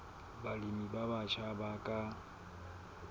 balemi ba batjha ba ka